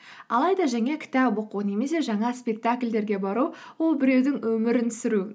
алайда жаңа кітап оқу немесе жаңа спектакльдерге бару ол біреудің өмірін сүру